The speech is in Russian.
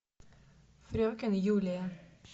фрекен юлия